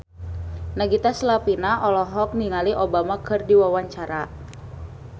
Nagita Slavina olohok ningali Obama keur diwawancara